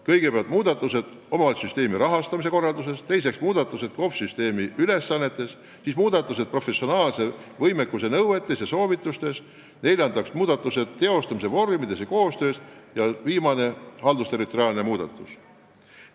Kõigepealt, muudatused omavalitsussüsteemi rahastamise korralduses; teiseks, muudatused kohaliku omavalitsuse süsteemi ülesannetes; kolmandaks, muudatused professionaalse võimekuse nõuetes ja soovitustes; neljandaks, muudatused teostamise vormides ja koostöös ja viiendaks, haldusterritoriaalne muudatus.